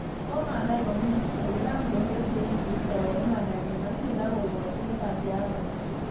Komanai komie, ko kiran konde sein keistoen imandanyin ak tiendo kokochi Liberty Afrika.